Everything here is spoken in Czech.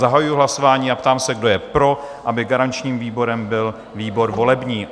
Zahajuji hlasování a ptám se, kdo je pro, aby garančním výborem byl výbor volební?